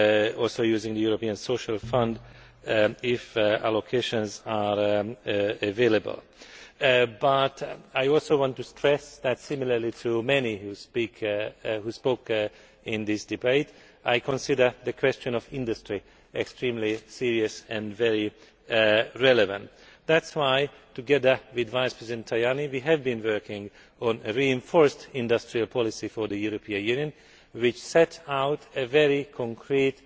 also using the European Social Fund if allocations are available. But I also want to stress that similarly to many who have spoken in this debate, I consider the question of the industry to be extremely serious and very relevant. That is why, together with Mr Tajani, we have been working on a reinforced industrial policy for the European Union which sets out a very concrete